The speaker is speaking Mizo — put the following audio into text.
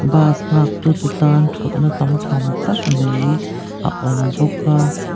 bus nghaktu te tan thutna tam tham thak tak mai a awm bawk a--